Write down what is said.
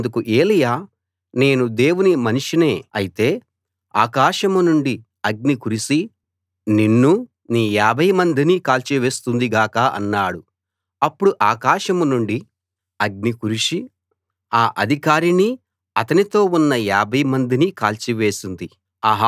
అందుకు ఏలీయా నేను దేవుని మనిషినే అయితే ఆకాశం నుండి అగ్ని కురిసి నిన్నూ నీ యాభై మందినీ కాల్చి వేస్తుంది గాక అన్నాడు అప్పుడు ఆకాశం నుండి అగ్ని కురిసి ఆ అధికారినీ అతనితో ఉన్న యాభై మందినీ కాల్చి వేసింది